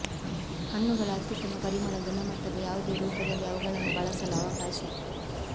ಹಣ್ಣುಗಳ ಅತ್ಯುತ್ತಮ ಪರಿಮಳ ಗುಣಮಟ್ಟದ ಯಾವುದೇ ರೂಪದಲ್ಲಿ ಅವುಗಳನ್ನು ಬಳಸಲು ಅವಕಾಶ